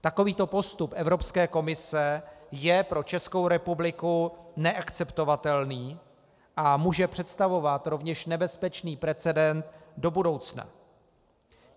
Takovýto postup Evropské komise je pro Českou republiku neakceptovatelný a může představovat rovněž nebezpečný precedent do budoucna.